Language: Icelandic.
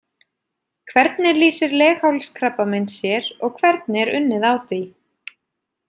Hvernig lýsir leghálskrabbamein sér og hvernig er unnið á því?